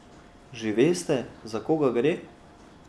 Že veste, za koga gre?